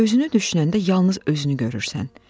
Özünü düşünəndə yalnız özünü görürsən.